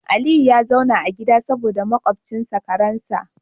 Aliyu ya zauna a gida saboda makwabcinsa karen sa